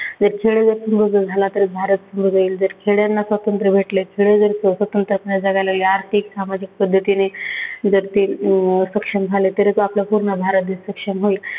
जर खेड्यात बदल झाला तर भारत बदलेल. जर खेड्यांना स्वातंत्र्य भेटले, खेडे जर स्वतंत्र असल्याने जगाला या आर्थिक, सामाजिक पद्धतीने जर ते अं सक्षम झाले तरच आपला पूर्ण भारत देश सक्षम होईल.